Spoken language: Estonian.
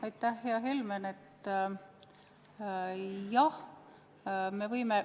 Aitäh, hea Helmen!